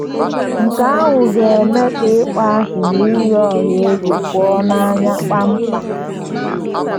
Nke ahụ ga - eme ka ịkpọasị na iyi ọha egwu pụọ n’anya kpam kpam.